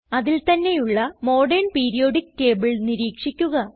അതിൽ തന്നെയുള്ള modern periodic table നിരീക്ഷിക്കുക